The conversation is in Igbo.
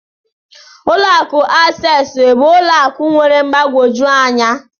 Ụlọ akụ Access bụ ụlọ akụ nwere mgbagwoju anya